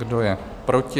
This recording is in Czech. Kdo je proti?